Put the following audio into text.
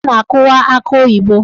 Ọ na-akụwa akị oyibo.